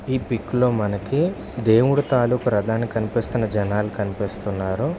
ఈ పిక్ లో మనకి దేవుడి తాలూకు రధాన్ని కనిపిస్తున్న జనాలు కనిపిస్తున్నారు.